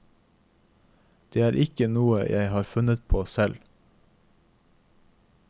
Det er ikke noe jeg har funnet på selv.